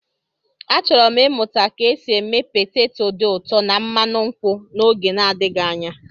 Achọrọ m ịmụta ka esi eme peteto dị ụtọ na mmanụ nkwụ n'oge adịghị anya.